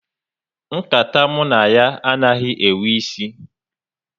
Nkata mụ na ya anaghị enwe isi